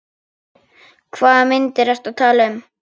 Hvaða myndir ertu að tala um?